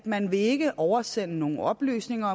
man vil ikke oversende nogen oplysninger